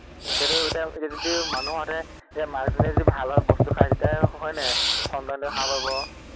তেতিয়া, তেতিয়া যদি মানুহ হোৱাহেঁতে এতিয়া মাকজনীয়ে যদি ভাল ভাল বস্তু খাই তেতিয়াহে হয় নাই সন্তানটোৱে ভাল হব।